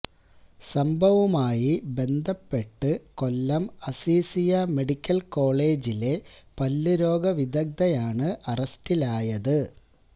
സംഭവവുമായി ബന്ധപ്പെട്ട് കൊല്ലം അസിസീയ മെഡിക്കൽ കോളേജിലെ പല്ലുരോഗ വിദഗ്ധയായണ് അറസ്റ്റിലായത്